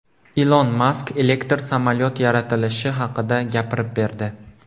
Ilon Mask elektr samolyot yaratilishi haqida gapirib berdi.